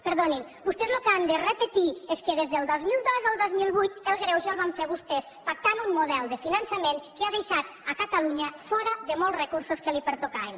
perdonin vostès el que han de repetir és que des del dos mil dos al dos mil vuit el greuge el van fer vostès pactant un model de finançament que ha deixat catalunya fora de molts recursos que li pertocaven